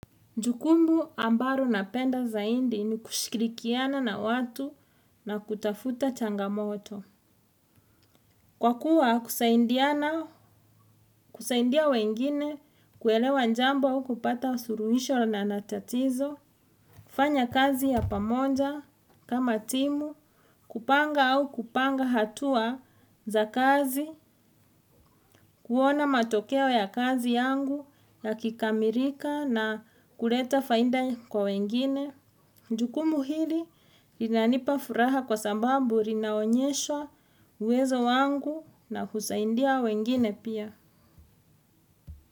Jukumu ambalo napenda zaidi ni kushikirikiana na watu na kutafuta changamoto. Kwa kuwa kusaidiana, kusaidia wengine kuelewa jambo au kupata suluhisho la tatizo, kufanya kazi ya pamoja kama timu, kupanga au kupanga hatua za kazi kuona matokeo ya kazi yangu yakikamilika na kuleta faida kwa wengine. Jukumu hili linanipa furaha kwa sababu linaonyesha uwezo wangu na husaidia wengine pia.